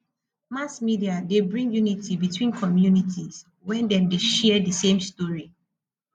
mass media de bring unity between communities when dem de share di same story